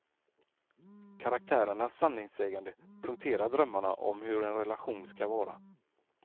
Karaktärernas sanningssägande punkterar drömmarna om hur en relation ska vara.